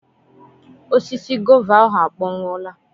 Osisi gova ahụ akpọnwụọla.